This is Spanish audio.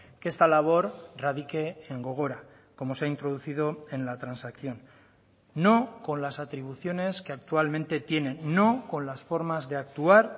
que esta labor radique en gogora como se ha introducido en la transacción no con las atribuciones que actualmente tiene no con las formas de actuar